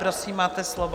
Prosím, máte slovo.